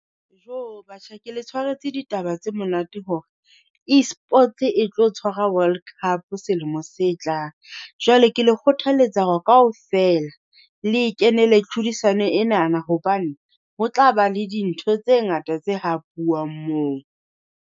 Jo batjha ke le tshwaretse ditaba tse monate hore, Esports e tlo tshwara World Cup selemo se tlang, jwale ke le kgothaletsa hore kaofela le e kenela tlhodisano enana. Hobane ho tla ba le dintho tse ngata tse hapuwang moo.